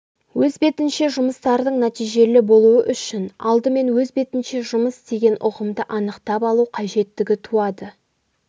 өз бетінше жұмыстардың нәтижелі болуы үшін алдымен өз бетінше жұмыс деген ұғымды анықтап алу қажеттігі туады